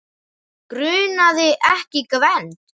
Grunaði ekki Gvend.